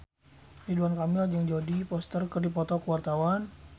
Ridwan Kamil jeung Jodie Foster keur dipoto ku wartawan